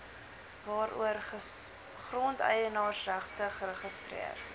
waaroor grondeienaarsregte geregistreer